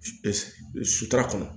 Sutura kɔnɔ